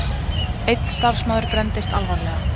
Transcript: Einn starfsmaður brenndist alvarlega